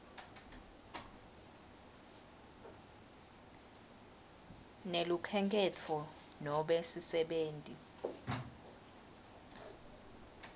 nelukhenkhetfo nobe sisebenti